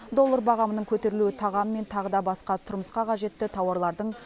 доллар бағамының көтерілуі тағам мен тағы да басқа тұрмысқа қажетті тауарлардың